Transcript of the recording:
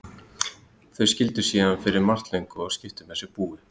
Þau skildu síðan fyrir margt löngu og skiptu með sér búi.